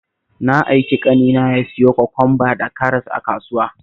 Na aiki ƙanina ya siyo kwakwamba da karas a kasuwa